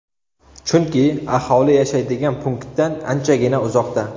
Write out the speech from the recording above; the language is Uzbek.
Chunki aholi yashaydigan punktdan anchagina uzoqda.